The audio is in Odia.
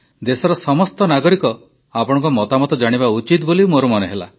ଦେଶର ସମସ୍ତ ନାଗରିକ ଆପଣଙ୍କ ମତାମତ ଜାଣିବା ଉଚିତ ବୋଲି ମୋର ମନେ ହେଲା